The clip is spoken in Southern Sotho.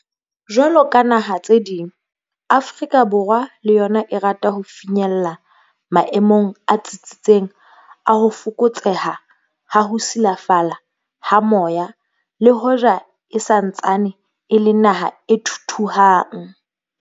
Jwalo ka dinaha tse ding, Afrika Borwa le yona e rata ho finyella maemong a tsitsitseng a ho fokotseha ha ho silafala ha moya le hoja e sa ntsaneng e le naha e thuthuhang.